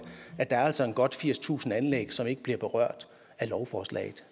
at der altså er godt firstusind anlæg som ikke bliver berørt af lovforslaget